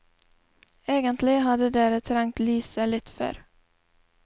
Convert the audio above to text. Egentlig hadde dere trengt lyset litt før.